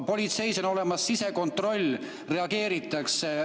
Politseis on olemas sisekontroll, reageeritakse.